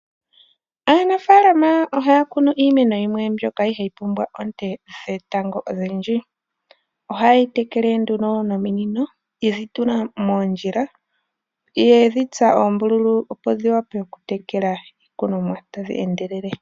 Aanafaalama oha ya kunu iimeno himwe mbyoka yi li iha yi pumbwa kk te dheta go odhindji. Oha ye yi tekele wo nduno nominino, ye dhi tula moondjila, ye dhi tsa oombululu opo dhi vule oku tekela iikunomwa ta dhi endelele.